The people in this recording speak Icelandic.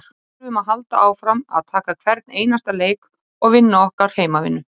Við þurfum að halda áfram að taka hvern einasta leik og vinna okkar heimavinnu.